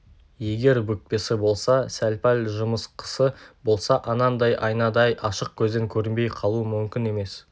егер бүкпесі болса сәл-пәл жымысқысы болса анандай айнадай ашық көзден көрінбей қалуы мүмкін емес